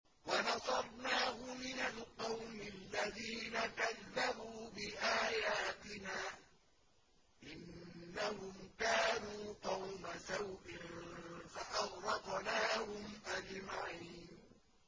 وَنَصَرْنَاهُ مِنَ الْقَوْمِ الَّذِينَ كَذَّبُوا بِآيَاتِنَا ۚ إِنَّهُمْ كَانُوا قَوْمَ سَوْءٍ فَأَغْرَقْنَاهُمْ أَجْمَعِينَ